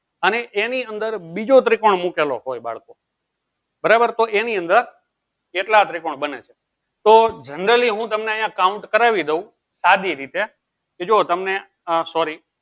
અને એની અંદર બીજો ત્રિકોણ મુકેલો હોય બાળકો બરાબર તો એની અંદર કેટલા ત્રિકોણ બને છે તો generally હું તમે આ count કરી દઉં સાદી રીતે કે જો તમને આ sorry